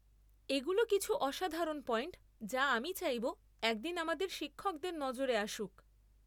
এগুলো কিছু অসাধারণ পয়েন্ট যা আমি চাইব একদিন আমাদের শিক্ষকদের নজরে আসুক।